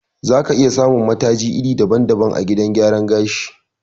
Za ka iya samun mataji iri daban-daban a gidan gyaran gashi.